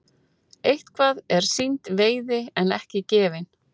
Eitthvað er sýnd veiði en ekki gefin